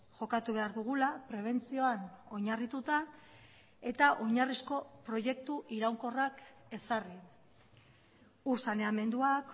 jokatu behar dugula prebentzioan oinarrituta eta oinarrizko proiektu iraunkorrak ezarri ur saneamenduak